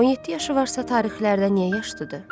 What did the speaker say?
17 yaşı varsa tarixlərdə niyə yaşlıdır?